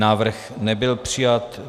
Návrh nebyl přijat.